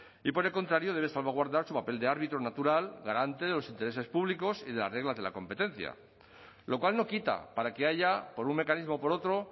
y por el contrario debe salvaguardar su papel de árbitro natural garante de los intereses públicos y de las reglas de la competencia lo cual no quita para que haya por un mecanismo o por otro